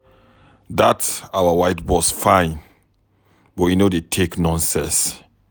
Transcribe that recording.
Dat our white boss fine but e no dey take nonsense.